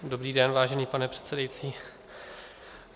Dobrý den, vážený pane předsedající.